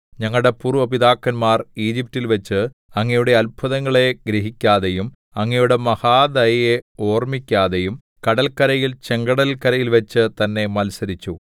ഞങ്ങളുടെ പൂര്‍വ്വ പിതാക്കന്മാർ ഈജിപ്റ്റിൽവെച്ച് അങ്ങയുടെ അത്ഭുതങ്ങളെ ഗ്രഹിക്കാതെയും അങ്ങയുടെ മഹാദയയെ ഓർമ്മിക്കാതെയും കടല്ക്കരയിൽ ചെങ്കടല്ക്കരയിൽവച്ചു തന്നെ മത്സരിച്ചു